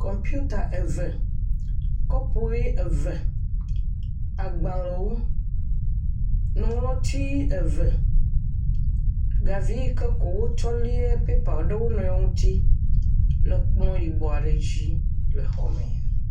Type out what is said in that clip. Kɔmputa eve, kɔpu ʋe eve, agbalẽwo nuŋlɔti eve, gavi keko wotsɔ léa pɛpa le ekplɔ yibɔ aɖe dzi le xɔme.